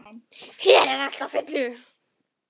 Hér er allt á fullu.